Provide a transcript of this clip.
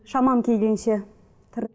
шамам келгенше